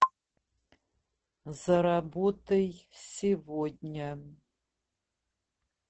заработай сегодня